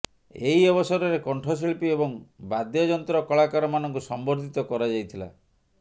ଏହି ଅବସରରେ କଣ୍ଠଶିଳ୍ପୀ ଏବଂ ବାଦ୍ୟଯନ୍ତ୍ର କଳାକାରମାନଙ୍କୁ ସମ୍ବର୍ଦ୍ଧିତ କରାଯାଇଥିଲା